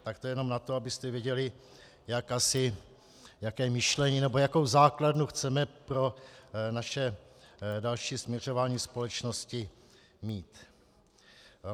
Tak to jenom na to, abyste věděli, jaké myšlení nebo jakou základnu chceme pro naše další směřování společnosti mít.